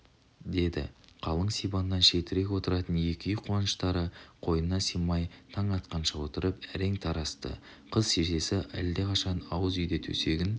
деді қалың сибаннан шетірек отыратын екі үй қуаныштары қойнына сыймай таң атқанша отырып әрең тарасты қыз шешесі алдақашан ауыз үйде төсегін